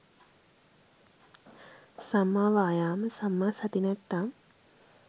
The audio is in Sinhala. සම්මා වායාම සම්මා සති නැත්නම්